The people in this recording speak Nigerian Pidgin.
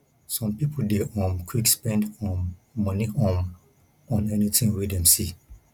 some pipo dey um quick spend um moni um on anything wey dem see